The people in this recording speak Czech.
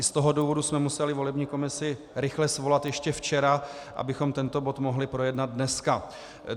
I z toho důvodu jsme museli volební komisi rychle svolat ještě včera, abychom tento bod mohli projednat dneska.